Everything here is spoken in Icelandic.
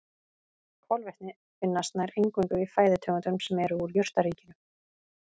Kolvetni finnast nær eingöngu í fæðutegundum sem eru úr jurtaríkinu.